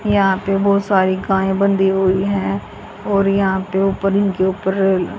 यहां पे बहुत सारी गाय बंधी हुई हैं और यहां पे ऊपर इनके ऊपर--